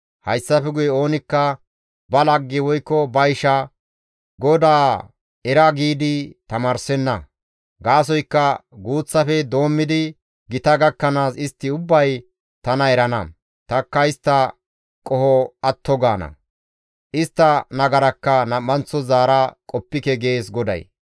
Hayssafe guye oonikka ba lagge woykko ba isha, ‹GODAA era› giidi tamaarsenna; gaasoykka guuththafe doommidi gita gakkanaas istti ubbay tana erana; tanikka istta qoho atto gaana; istta nagarakka nam7anththo zaara qoppike» gees GODAY.